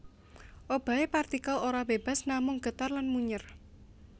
Obahe partikel ora bebas namung getar lan munyèr